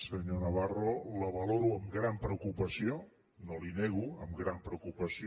senyor navarro la valoro amb gran preocupació no li ho nego amb gran preocupació